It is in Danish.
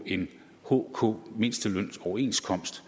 en hk mindstelønsoverenskomst